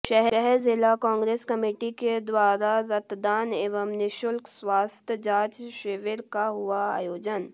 शहर जिला कांग्रेस कमेटी के द्वारा रक्तदान एवं निःशुल्क स्वास्थ्य जांच शिविर का हुआ आयोजन